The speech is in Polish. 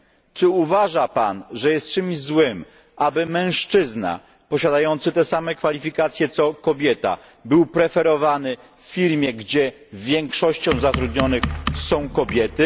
Czy uważa Pan, że jest czymś złym, aby mężczyzna posiadający te same kwalifikacje co kobieta był preferowany w firmie, gdzie większość zatrudnionych to kobiety?